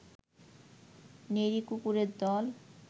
নেড়ি কুকুরের দল